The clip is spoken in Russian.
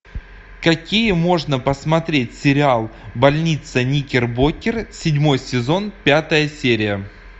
какие можно посмотреть сериал больница никербокер седьмой сезон пятая серия